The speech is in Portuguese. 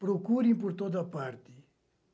Procurem por toda parte.